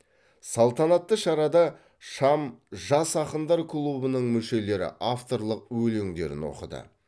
салтанатты шарада шам жас ақындар клубының мүшелері авторлық өлеңдерін оқыды